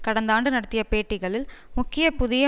கடந்த ஆண்டு நடத்திய பேட்டிகளில் முக்கிய புதிய